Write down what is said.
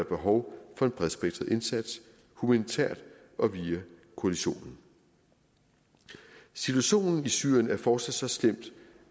behov for en bredspektret indsats humanitært og via koalitionen situationen i syrien er fortsat så slem